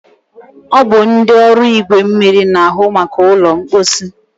ọ bụ ndị ọrụ igwe mmiri na-ahụ maka ụlọ mkposi.